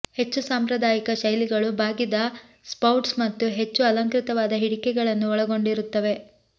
ಹೆಚ್ಚು ಸಾಂಪ್ರದಾಯಿಕ ಶೈಲಿಗಳು ಬಾಗಿದ ಸ್ಪೌಟ್ಸ್ ಮತ್ತು ಹೆಚ್ಚು ಅಲಂಕೃತವಾದ ಹಿಡಿಕೆಗಳನ್ನು ಒಳಗೊಂಡಿರುತ್ತವೆ